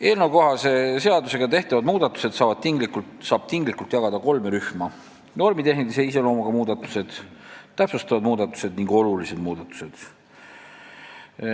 Eelnõukohase seadusega tehtavad muudatused saab tinglikult jagada kolme rühma: normitehnilise iseloomuga muudatused, täpsustavad muudatused ning olulised muudatused.